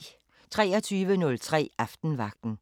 23:03: Aftenvagten